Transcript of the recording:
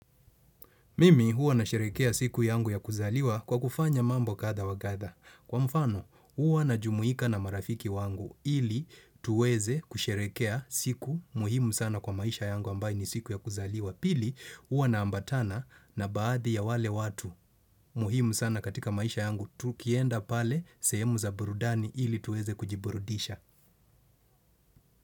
Mimi huwa nasherekea siku yangu ya kuzaliwa kwa kufanya mambo kadha wa kadha. Kwa mfano huwa najumuika na marafiki wangu ili tuweze kusherekea siku muhimu sana kwa maisha yangu ambayo ni siku ya kuzaliwa. Pili huwa naambatana na baadhi ya wale watu muhimu sana katika maisha yangu tukienda pale sehemu za burudani ili tuweze kujiburudisha.